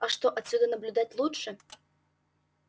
а что отсюда наблюдать лучше